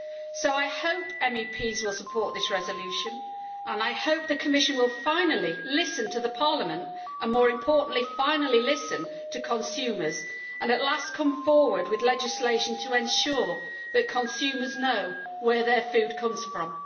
So I hope MEPs will support this resolution and I hope the Commission will finally listen to Parliament and, more importantly, finally listen to consumers and at last come forward with legislation to ensure that consumers know where their food comes from.